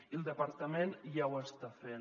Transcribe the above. i el departament ja ho està fent